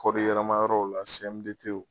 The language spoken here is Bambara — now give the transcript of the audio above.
Kɔɔri yɛlɛma yɔrɔw la CMDT